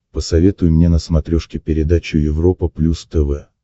посоветуй мне на смотрешке передачу европа плюс тв